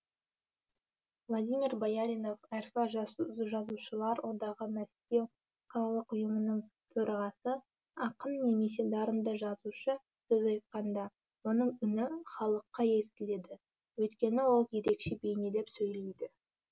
владимир бояринов рф жазушылар одағы мәскеу қалалық ұйымының төрағасы ақын немесе дарынды жазушы сөз айтқанда оның үні халыққа естіледі өйткені ол ерекше бейнелеп сөйлейді